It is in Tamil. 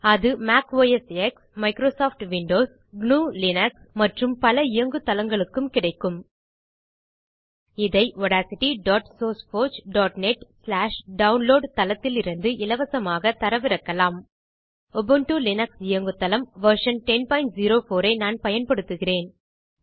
அது Mac OS X Microsoft Windows gnuலினக்ஸ் மற்றும் பல இயங்கு தளங்களுக்கும் கிடைக்கும் இதை audacitysourceforgenetடவுன்லோட் தளத்திலிருந்து இலவசமாகத் தரவிறக்கலாம் உபுண்டு லினக்ஸ் இயங்குதளம் வெர்ஷன் 1004 வெர்ஷன் நான் பயன்படுத்துகிறேன்